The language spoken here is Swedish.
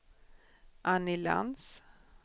Anny Lantz